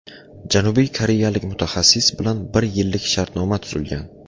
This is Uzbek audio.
Janubiy koreyalik mutaxassis bilan bir yillik shartnoma tuzilgan.